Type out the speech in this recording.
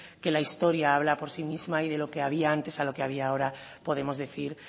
que la historia habla por sí mismo y de lo que había antes a lo que había ahora podemos decir